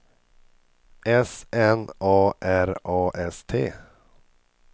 S N A R A S T